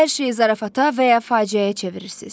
Hər şeyi zarafata və ya faciəyə çevirirsiz.